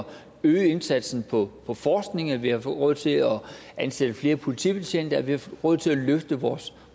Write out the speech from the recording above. øge indsatsen på på forskning at vi har fået råd til at ansætte flere politibetjente at vi har fået råd til at løfte vores